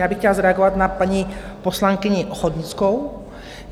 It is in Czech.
Já bych chtěla zareagovat na paní poslankyni Ochodnickou.